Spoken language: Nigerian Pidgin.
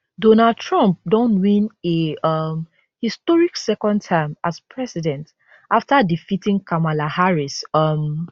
donald trump don win a um historic second term as president afta defeating kamala harris um